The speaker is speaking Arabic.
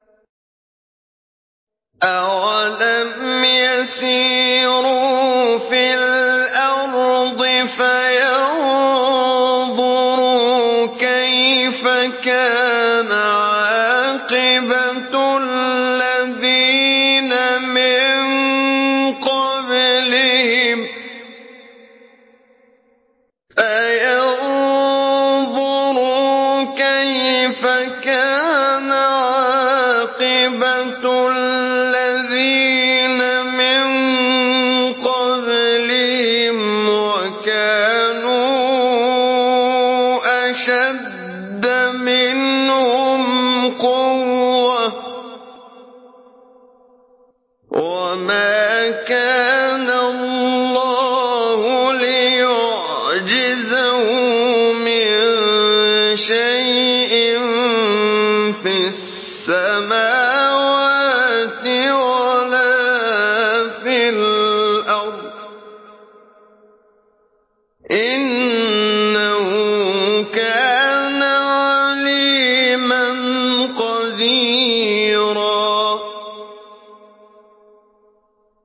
أَوَلَمْ يَسِيرُوا فِي الْأَرْضِ فَيَنظُرُوا كَيْفَ كَانَ عَاقِبَةُ الَّذِينَ مِن قَبْلِهِمْ وَكَانُوا أَشَدَّ مِنْهُمْ قُوَّةً ۚ وَمَا كَانَ اللَّهُ لِيُعْجِزَهُ مِن شَيْءٍ فِي السَّمَاوَاتِ وَلَا فِي الْأَرْضِ ۚ إِنَّهُ كَانَ عَلِيمًا قَدِيرًا